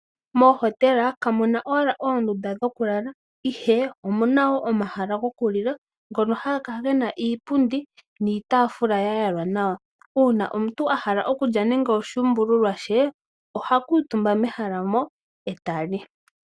Mohotela kamunna shike omahala gokulala omuna wwo omahala gokulila ngoka haga kala gena iipundi niitafula yayalwa nawa, uuna omuntu ahala okulya nande oshuumbululwa she oha kutumba mehala moka eta li.